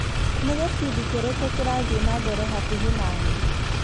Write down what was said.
Nĩ gĩbindi kĩrĩkũ kĩrathiĩ na mbere hakuhĩ na niĩ ?